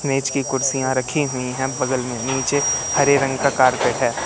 मेज की कुर्सियां रखी हुई हैं बगल में नीचे हरे रंग का कारपेट है।